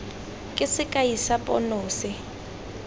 ke sekai sa pono se